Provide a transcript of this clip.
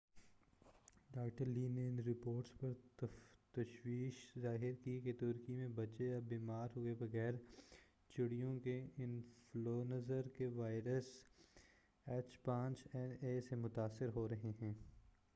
Doctor Lee نے ان reports پر تشویش ظاہر کی کہ ترکی میں بچے اب بیمار ہوئے بغیر چڑیوں کے انفلونزا کے وائرس ایچ5این1 سے متاثر ہو رہے ہیں۔